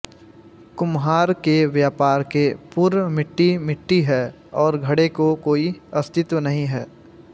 कुम्हार के व्यापार के पूर्व मिट्टी मिट्टी है और घड़े को कोई अस्तित्व नहीं है